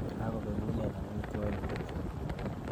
Kakobekunen amitwogik kobek.